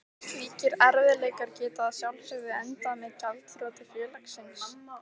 Slíkir erfiðleikar geta að sjálfsögðu endað með gjaldþroti félagsins.